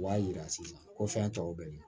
O b'a jira sisan ko fɛn tɔw bɛ yen